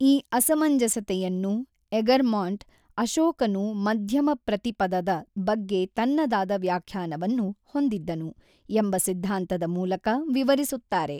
ಈ ಅಸಮಂಜಸತೆಯನ್ನು ಎಗರ್ಮಾಂಟ್, ಅಶೋಕನು ಮಧ್ಯಮಪ್ರತಿಪದದ ಬಗ್ಗೆ ತನ್ನದಾದ ವ್ಯಾಖ್ಯಾನವನ್ನು ಹೊಂದಿದ್ದನು ಎಂಬ ಸಿದ್ಧಾಂತದ ಮೂಲಕ ವಿವರಿಸುತ್ತಾರೆ.